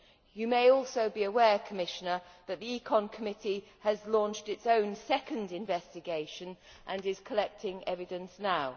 You may also be aware, Commissioner, that the ECON Committee has launched its own second investigation and is collecting evidence now.